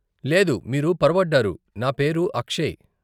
లేదు, మీరు పొరబడ్డారు, నా పేరు అక్షయ్.